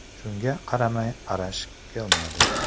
Shunga qaramay, Arash kelmadi.